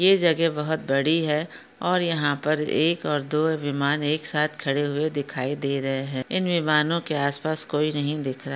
ये जगह बहुत बड़ी है। और यहा पर एक और दो विमान एक साथ खड़े हुए दिखाई दे रहे है। इन विमानों के आस पास कोई नहीं दिख रा--